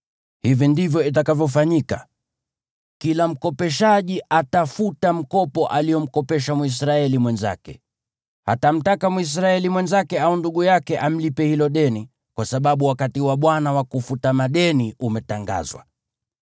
Hivi ndivyo itakavyofanyika: Kila mkopeshaji atafuta mkopo aliomkopesha Mwisraeli mwenzake. Hatamtaka Mwisraeli mwenzake au ndugu yake amlipe hilo deni, kwa sababu wakati wa Bwana wa kufuta madeni umetangazwa.